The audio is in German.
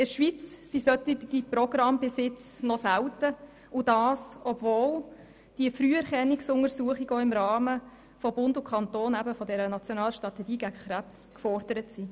In der Schweiz sind solche Programme bis jetzt noch selten, und das obwohl die Früherkennungsuntersuchung auch im Rahmen der nationalen Strategie gegen Krebs gefordert wird.